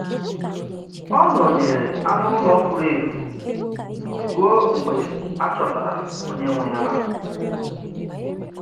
Ọ nọnyeere anụ ụlọ furu efu ruo mgbe a chọtara onye nwe ya.